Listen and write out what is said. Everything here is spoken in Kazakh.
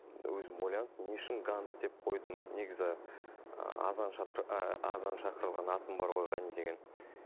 өзім ойланып не үшін ганзз деп қойдым негізі ыыы азан ыыы азан шақырылған атым бар ғой ғани деген